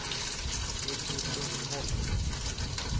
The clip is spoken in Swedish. Hildur Lundholm